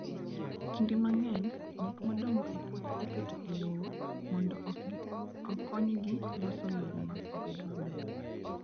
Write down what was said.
Kinde mang'eny, gik modong' e puothe iketo e lowo mondo okonygi loso lowo obed maber.